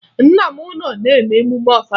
Nna m nọ n'emume Ọfala